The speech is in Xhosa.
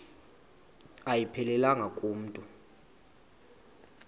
ayiphelelanga ku mntu